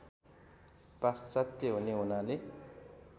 पाश्चात्य हुने हुनाले